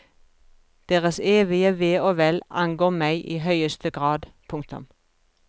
Deres evige ve og vel angår meg i høyeste grad. punktum